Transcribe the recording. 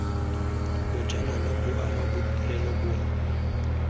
bojanala bo ama bodirelo bongwe